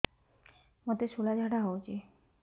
ମୋତେ ଶୂଳା ଝାଡ଼ା ହଉଚି